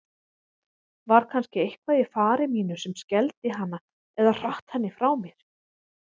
Var kannski eitthvað í fari mínu sem skelfdi hana eða hratt henni frá mér?